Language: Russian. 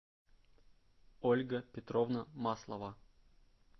ольга петровна маслова